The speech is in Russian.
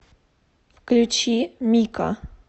включи мика